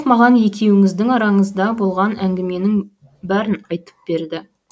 маған екеуіңіздің араңызда болған әңгіменің бәрін айтып берді